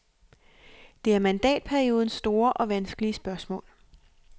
Det er mandatperiodens store og vanskelige spørgsmål.